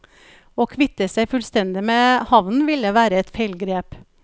Å kvitte seg fullstendig med havnen ville være et feilgrep.